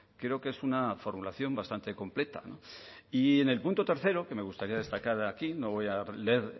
creo que es una formulación bastante completa y en el punto tercero que me gustaría destacar aquí no voy a leer